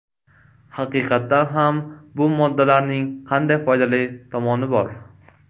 Haqiqatan ham, bu moddalarning qanday foydali tomoni bor?